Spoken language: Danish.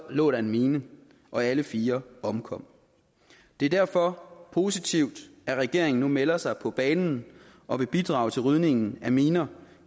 lå der en mine og alle fire omkom det er derfor positivt at regeringen nu melder sig på banen og vil bidrage til rydningen af miner